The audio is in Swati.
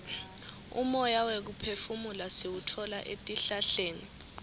umoya wekuphefumula siwutfola etihlahleni